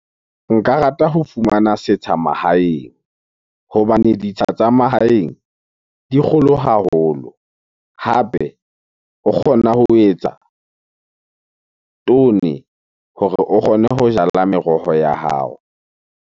Nka rata ho fumana setsha mahaeng hobane ditsela tsa mahaeng di kgolo haholo. Hape o kgona ho etsa hore o kgone ho jala meroho ya hao.